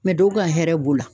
dɔw ka hɛrɛ b'o la.